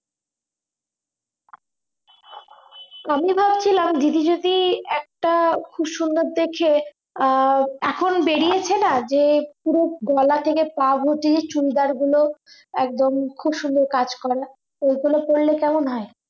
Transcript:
আমি বলছিলাম দিদি যদি একটা খুব সুন্দর দেখে আহ এখন বেরিয়েছে না যে পুরো গলা থেকে পা ভর্তি চুড়িদার গুলো একদম খুব সুন্দর কাজ করা ওই গুলো পরলে কেমন হয়